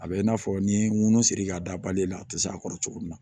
A bɛ i n'a fɔ ni ŋunun siri ka dabali la a te se a kɔrɔ cogo min na